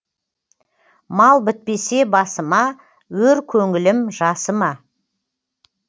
мал бітпесе басыма өр көңілім жасыма